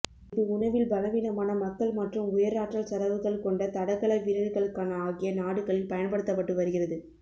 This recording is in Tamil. இது உணவில் பலவீனமான மக்கள் மற்றும் உயர் ஆற்றல் செலவுகள் கொண்ட தடகள வீரர்களுக்கான ஆகிய நாடுகளில் பயன்படுத்தப்பட்டு வருகிறது